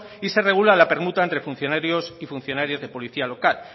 y se regula la permuta entre funcionarios y funcionarias de policía local